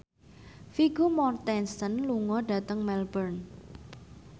Vigo Mortensen lunga dhateng Melbourne